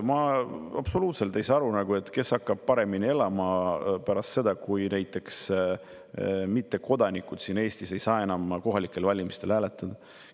Ma ei saa absoluutselt aru, kes hakkab paremini elama pärast seda, kui näiteks mittekodanikud siin Eestis ei saa enam kohalikel valimistel hääletada.